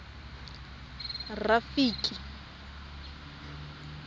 rafiki